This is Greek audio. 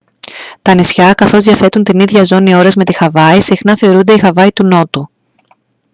τα νησιά καθώς διαθέτουν την ίδια ζώνη ώρας με τη χαβάη συχνά θεωρούνται η «χαβάη του νότου»